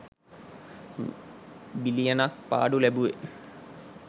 බිලියන ක් පාඩු ලැබුවෙ?